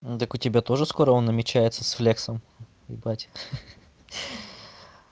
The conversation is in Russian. так у тебя тоже скоро он намечается с флексом ебать